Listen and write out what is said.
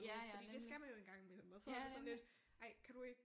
Ja ja nemlig ja nemlig